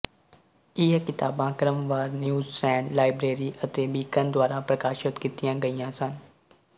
ਇਹ ਕਿਤਾਬਾਂ ਕ੍ਰਮਵਾਰ ਨਿਊਜ਼ਸਟੈਂਡ ਲਾਇਬ੍ਰੇਰੀ ਅਤੇ ਬੀਕਨ ਦੁਆਰਾ ਪ੍ਰਕਾਸ਼ਤ ਕੀਤੀਆਂ ਗਈਆਂ ਸਨ